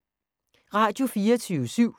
Radio24syv